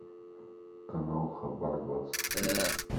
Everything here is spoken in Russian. канал хабар двадцать четыре